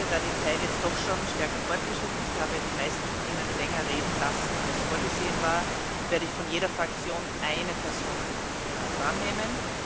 Da die Zeit nun schon weit fortgeschritten ist ich habe die meisten von Ihnen länger reden lassen, als vorgesehen war werde ich von jeder Fraktion eine Person drannehmen.